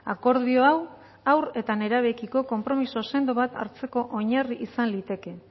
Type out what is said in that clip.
akordio hau haur eta nerabeekiko konpromiso sendo bat hartzeko oinarri izan liteke